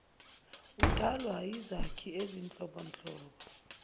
udalwa yizakhi ezinhlobonhlobo